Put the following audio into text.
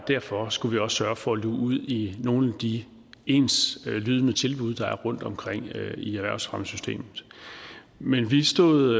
og derfor skulle vi også sørge for at luge ud i nogle af de enslydende tilbud der er rundtomkring i erhvervsfremmesystemet men vi stod